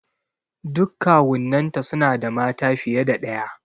Duk kawunnan ta suna da mata fiye da ɗaya.